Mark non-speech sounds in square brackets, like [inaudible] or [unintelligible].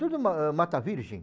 Tudo [unintelligible] ma Mata Virgem.